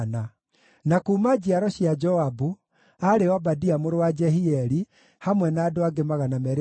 na kuuma njiaro cia Joabu, aarĩ Obadia mũrũ wa Jehieli, hamwe na andũ angĩ 218;